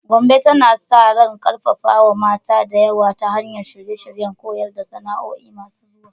Gombe tana sa ran karfafawa mata da yawa ta hanyar shirye-shiryen koyar da sana'o'i masu zuwa.